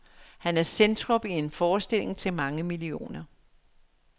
Han er centrum i en forestilling til mange millioner.